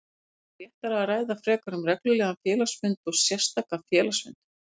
væri réttara að ræða frekar um reglulegan félagsfund og sérstakan félagsfund.